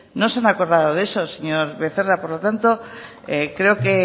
no se han acordado de eso señor becerra por lo tanto creo que